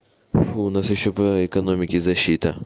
фу нас ещё по экономике защита